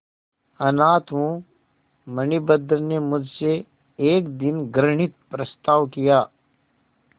अनाथ हूँ मणिभद्र ने मुझसे एक दिन घृणित प्रस्ताव किया